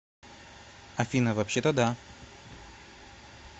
афина вообще то да